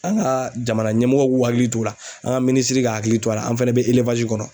An ka jamana ɲɛmɔgɔw k'u hakili t'o la, an ka minisiri k'a hakili to a la an fɛnɛ be kɔnɔ.